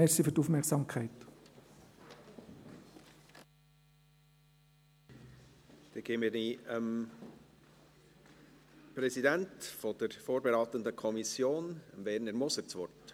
Dann gebe ich dem Präsidenten der vorberatenden Kommission, Werner Moser, das Wort.